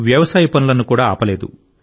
వ్యవసాయ పనులను కూడా ఆపలేదు